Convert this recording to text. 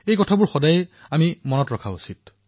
এই কথা সদায়েই মনত ৰখা উচিত